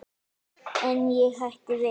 En ég hætti við.